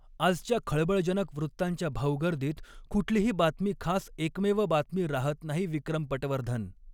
आजच्या खळबळजनक वृत्तांच्या भाऊगर्दीत कुठलीही बातमी खास एकमेव बातमी राहत नाही विक्रम पटवर्धन